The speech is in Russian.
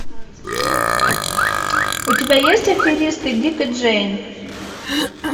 у тебя есть аферисты дик и джейн